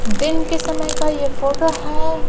दिन के समय का यह फोटो है.